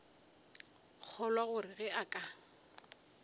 kgolwa gore ge a ka